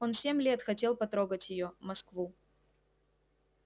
он семь лет хотел потрогать её москву